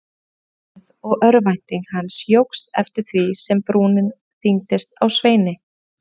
bætti hann við og örvænting hans jókst eftir því sem brúnin þyngdist á Sveini.